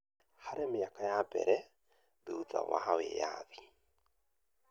Harĩ mĩaka ya mbere thuthu wa wĩathi,